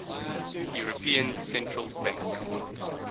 european central bank